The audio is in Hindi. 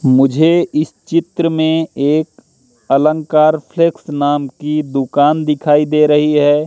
मुझे इस चित्र में एक अलंकार फ्लेक्स नाम की दुकान दिखाई दे रही है।